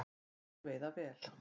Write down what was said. Og þeir veiða vel